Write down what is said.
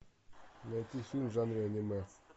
найти фильм в жанре аниме